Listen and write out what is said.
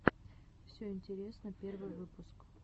все интересно первый выпуск